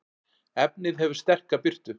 efnið hefur sterka birtu